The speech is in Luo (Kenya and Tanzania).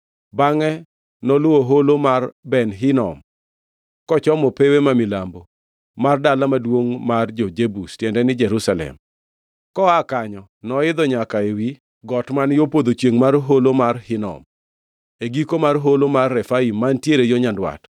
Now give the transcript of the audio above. Bangʼe noluwo Holo mar Ben Hinom, kochomo pewe ma milambo mar dala maduongʼ mar jo-Jebus (tiende ni, Jerusalem). Koa kanyo noidho nyaka ewi got man yo podho chiengʼ mar Holo mar Hinom e giko mar Holo mar Refaim mantiere yo nyandwat.